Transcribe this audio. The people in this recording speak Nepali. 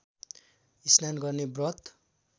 स्नान गर्ने व्रत